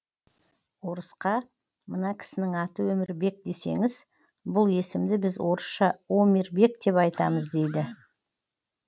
орысқа мына кісінің аты өмірбек десеңіз бұл есімді біз орысша омирбек деп айтамыз дейді